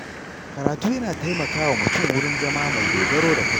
Karatu yana taimakawa mutum wurin zama mai dogaro da kai.